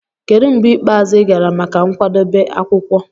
Kedu mgbe ikpeazụ ị gara maka nkwadebe akwukwo?